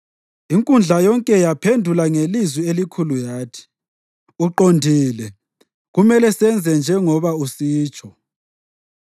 Inkundla yonke yaphendula ngelizwi elikhulu yathi: “Uqondile! Kumele senze njengoba usitsho.